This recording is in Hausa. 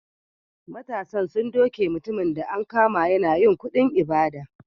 Matasan sun duke mutumin da an kama yana yin kuɗin ibada.